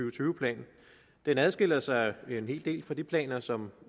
og tyve plan den adskiller sig en hel del fra de planer som